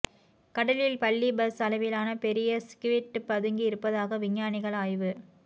கடலில் பள்ளி பஸ் அளவிலான பெரிய ஸ்க்விட் பதுங்கி இருப்பதாக விஞ்ஞானிகள் ஆய்வு